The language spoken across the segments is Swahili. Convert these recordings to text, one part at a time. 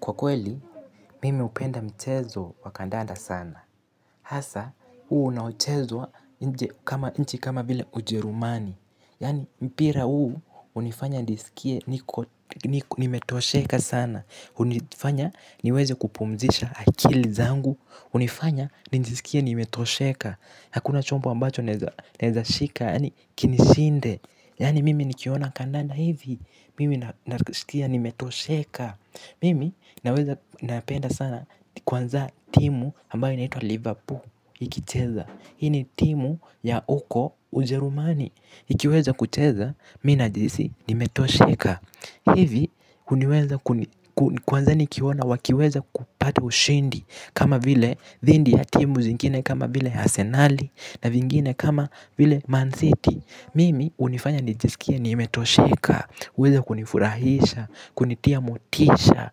Kwa kweli, mimi hupenda mchezo wa kandanda sana. Hasa, unao chezwa nchi kama vile ujerumani. Yaani, mpira huu, hunifanya nisikie nimetosheka sana. Hunifanya niweze kupumzisha akili zangu. Hunifanya nijisikie nimetosheka. Hakuna chombo ambacho naweza shika, yaani kinishinde. Yaani, mimi nikiona kandanda hivi. Mimi nasikia nimetosheka. Mimi naweza napenda sana kwanza timu ambayo inaitwa Liverpool ikicheza. Hii ni timu ya huko ujerumani. Ikiweza kucheza mimi najihisi nimetosheka. Hivi kwanza nikiona wakiweza kupata ushindi. Kama vile dhidhi ya timu zingine kama vile asenali na vingine kama vile Man City. Mimi hunifanya nijisikie nimetosheka huweza kunifurahisha, kunitia motisha,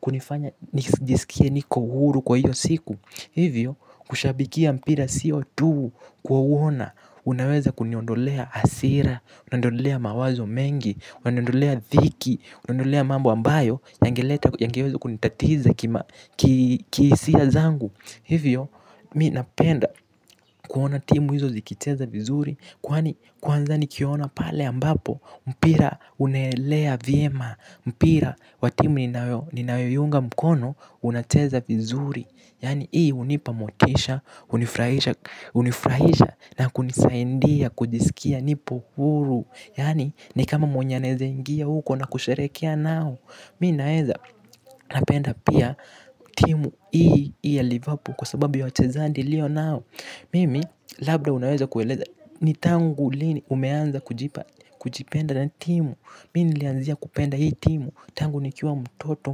kunifanya nijisikie niko huru kwa hiyo siku. Hivyo, kushabikia mpira sio tu kuwaona. Unaweza kuniondolea hasira, unaniondolea mawazo mengi, unaniondolea dhiki, unaniondolea mambo ambayo yangeweza kunitatiza kihisia zangu. Hivyo, mimi napenda kuona timu hizo zikicheza vizuri. Kwanza nikiona pale ambapo mpira unaelea vyema. Mpira wa timu ninayoiunga mkono. Unacheza vizuri. Yaani hii hunipa motisha, hunifurahisha hunifurahisha na kunisaidia kujisikia nipo huru. Yaani ni kama mwenye anaweza ingia huko na kusherehekea nao. Mimi naweza napenda pia. Timu hii yaliapo kwa sababu ya wachezaji ilio nao. Mimi labda unaweza kueleza. Ni tangu lini umeanza kujipenda na timu. Mimi nilianzia kupenda hii timu. Tangu nikiwa mtoto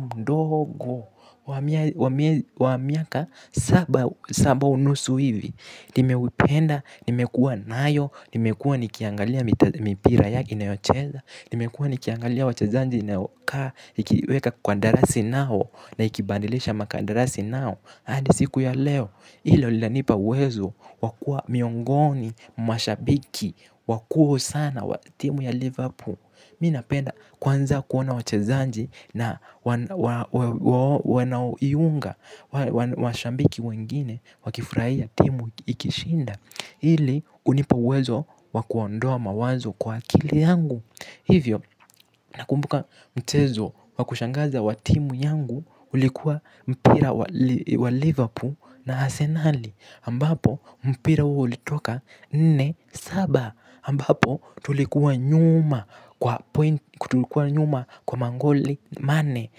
mdogo wa miaka saba unusu hivi. Nimeuipenda, nimekuwa nayo. Nimekuwa nikiangalia mipira yake inayocheza. Nimekuwa nikiangalia wachazaji wanaokaa. Ikiweka kwa darasi nao na ikibadilisha maka ndarasi nao hadi siku ya leo hilo lianipa uwezo wa kuwa miongoni, mwa shabiki, wakuu sana wa timu ya Liverpool. Mimi napenda kwanza kuona wachezaji na wanao iunga. Washabiki wengine wakifurahia timu ikishinda. Hili hunipa uwezo wa kuondoa mawazo kwa akili yangu. Hivyo nakumbuka mchezo wa kushangaza wa timu yangu. Ulikuwa mpira wa Liverpool na Arsenali Ambapo mpira uli toka nne saba ambapo tulikuwa nyuma kwa magoli manne.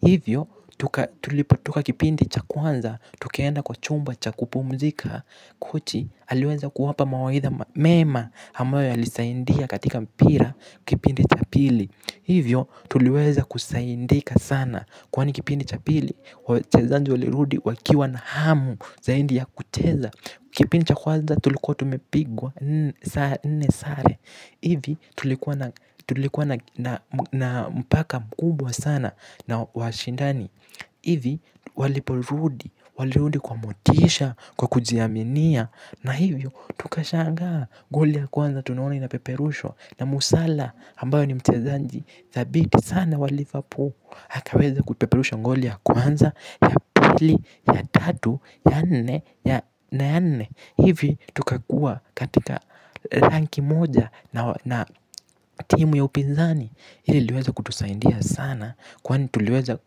Hivyo tuliputoka kipindi cha kwanza. Tukaenda kwa chumba cha kupumzika kochi aliweza kuwapa mawaidha mema ambayo ya lisaidia katika mpira kipindi cha pili. Hivyo tuliweza kusaidika sana. Kwani kipindi cha pili wachezaji walirudi wakiwa na hamu zaidi ya kucheza. Kipindi cha kwanza tulikuwa tumepigwa nne sare hivi tulikuwa na na mpaka mkubwa sana na washindani hivi waliporudi, walirudi kwa motisha, kwa kujiaminia. Na hivyo tukashangaa, goli ya kwanza tunaona ina peperushwa na msala ambayo ni mchezaji, dhabiti sana wa liverpool akaweza kutupeperusha goli ya kwanza ya pili, ya tatu, ya nne, na ya nne. Hivi tukakuwa katika ranki moja na timu ya upinzani. Hili liliweza kutusaidia sana kwani tuliweza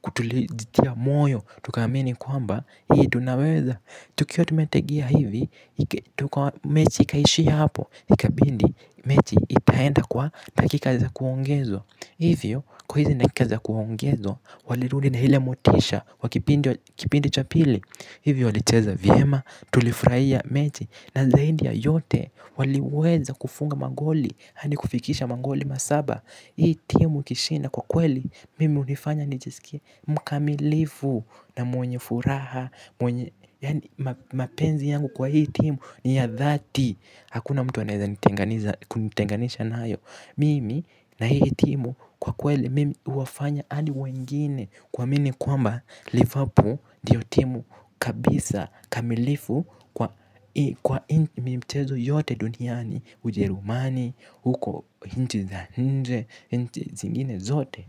kujitia moyo. Tukaamini kwamba hii tunaweza tukiwa tumetegea hivi, mechi ikaishia hapo ikabidi, mechi itaenda kwa dakika za kuongezwa. Hivyo, kwa hizi dakika za kuongezwa, walirudi na ile motisha, wa kipindi cha pili. Hivyo, walicheza vyema, tulifurahia mechi, na zaidi ya yote, waliweza kufunga magoli, hadi kufikisha magoli masaba. Hii timu ikishinda kwa kweli, mimi hunifanya nijisikie mkamilifu na mwenye furaha, mwenye, yaani mapenzi yangu kwa hii timu, ni ya dhati. Hakuna mtu anaweza nitenganisha nayo. Mimi na hii timu kwa kweli mimi huwafanya adi wengine kuami kwamba liverpool ndiyo timu kabisa kamilifu kwani mchezo yote duniani ujerumani huko nchi za nje nchi zingine zote.